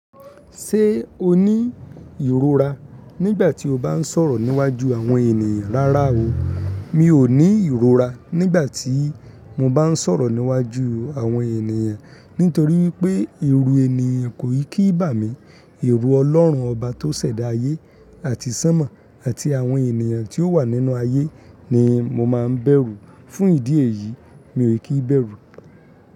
Ṣé o ní ìrora nígbà tí o bá ń sọ̀rọ̀ níwájú àwọn ènìyàn? Rárá o, mi ò ní ìrora nígbà tí mo bá ń sọ̀rọ̀ níwájú àwọn ènìyàn. Nítorí wípé, èrù ènìyàn kò kí n bà mí. Èrù Ọlọ́run ọba tó ṣẹ̀dá ayé àti sánmọ̀ àti àwọn ènìyàn tí ó wà nínú ayé ni mo máa ń bẹ̀rù. Fún ìdí èyí, mi ò kí bẹ̀rù.